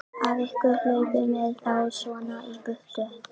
Af hverju hlaupið þið þá svona í burtu?